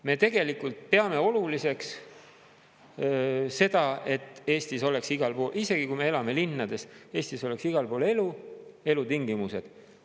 Me tegelikult peame oluliseks seda, et Eestis oleks igal pool, isegi kui me elame linnades, Eestis oleks igal pool elu, elutingimused.